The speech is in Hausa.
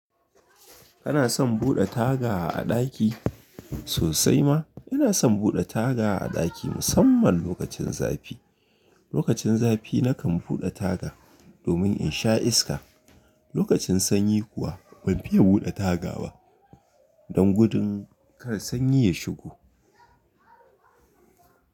Kana son buɗe taga a ɗaki sosai ma? Ina son buɗe taga a ɗaki musamman lokacin zafi. Lokacin zafi nakan buɗe taga domin in sha iska. Lokacin sanyi kuwa ban fiye buɗe taga ba don gudun kar sanyi ya shigo.